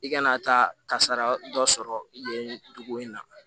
I kana taa kasara dɔ sɔrɔ nin dugu in na